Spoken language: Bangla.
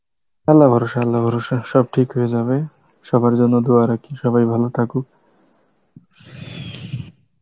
আল্লাহ ভরসা আল্লাহ ভরসা সব ঠিক হয়ে যাবে, সবার জন্য Hindi রাখি সবাই ভালো থাকুক